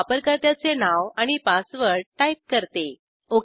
मी वापरकर्त्याचे नाव आणि पासवर्ड टाईप करते